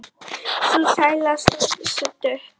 Sú sæla stóð stutt.